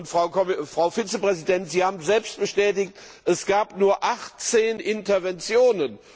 Frau Vizepräsidentin, Sie haben es selbst bestätigt Es gab nur 18 Interventionen.